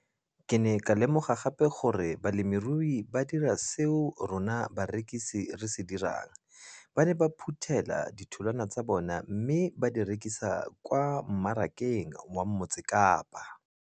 Ke ne ka lemoga gape gore balemirui ba dira seo rona barekisi re se dirang - ba ne ba phuthela ditholwana tsa bona mme ba di rekisa kwa marakeng wa Motsekapa.